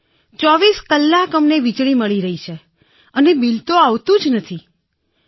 ૨૪ કલાક અમને વીજળી મળી રહી છે બિલ તો આવતું જ નથી ને બિલકુલ